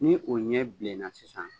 Ni o ɲɛ bilenna sisan